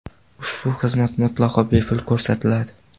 Ushbu xizmat mutlaqo bepul ko‘rsatiladi.